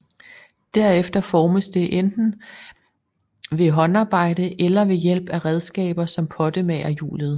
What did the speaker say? Derefter formes det enten ved håndarbejde eller ved hjælp af redskaber som pottemagerhjulet